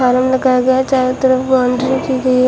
चारों तरफ बाउंड्री की गई--